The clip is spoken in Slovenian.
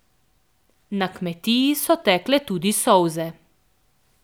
Na kmetiji so tekle tudi solze.